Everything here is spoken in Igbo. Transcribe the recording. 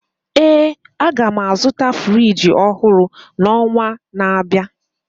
ee, a ga m azụta Friji ọhụrụ n'ọnwa na-abịa